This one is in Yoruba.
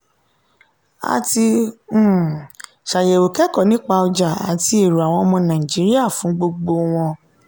a ti um ṣàyẹ̀wò kẹ́kọ̀ọ́ nípa ọjà àti èrò àwọn ọmọ nàìjíríà fún gbogbo wọn.